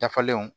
Dafalenw